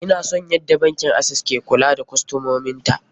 Ina son yadda bankin access ke kula da kostomomin ta.